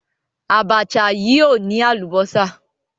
Àbàṣà yìí ò ní àlùbọ́sà.